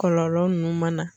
Kɔlɔlɔ ninnu mana.